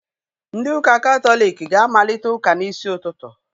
Ndị ụka katọliki ga-amalite ụka n'isi ụtụtụ.